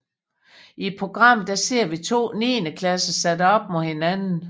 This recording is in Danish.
I programmet ser vi to 9 klasser sat op mod hinanden